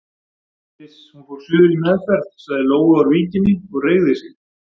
Iss, hún fór suður í meðferð sagði Lóa úr Víkinni og reigði sig.